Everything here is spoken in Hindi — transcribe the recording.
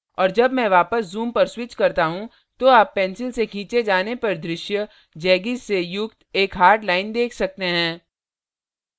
और जब मैं वापस zoom पर switch करता हूँ तो आप pencil से खींचे जाने पर दृश्य जैगीज़ से युक्त एक hard line देख सकते हैं